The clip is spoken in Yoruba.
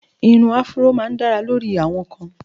Ìrun áfúró máá ń dára lórí àwọn kan